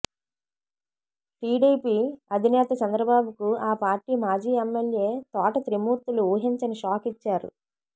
TDP అధినేత చంద్రబాబుకు ఆ పార్టీ మాజీ ఎమ్మెల్యే తోట త్రిమూర్తులు ఊహించని షాక్ ఇచ్చారు